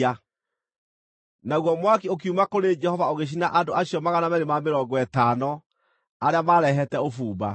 Naguo mwaki ũkiuma kũrĩ Jehova ũgĩcina andũ acio 250 arĩa maarehete ũbumba.